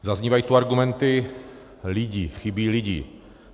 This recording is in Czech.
Zaznívají tu argumenty lidi, chybí lidi.